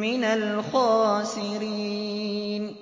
مِّنَ الْخَاسِرِينَ